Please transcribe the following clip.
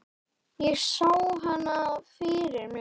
Ég sá hana fyrir mér.